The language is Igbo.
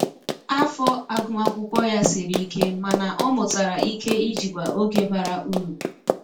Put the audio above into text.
Afọ agụmakwụkwọ ya siri ike mana ọ mụtara ike ijikwa oge bara uru